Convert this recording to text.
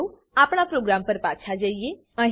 ચાલો આપણા પ્રોગ્રામ પર પાછા જઈએ